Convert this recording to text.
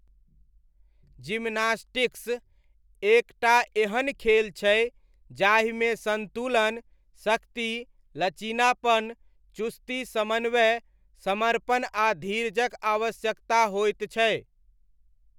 Gymnastics एक टा एहन खेल छै जाहिमे सन्तुलन, शक्ति, लचीलापन, चुस्ती, समन्वय, समर्पण आ धीरजक आवश्यकता होइत छै।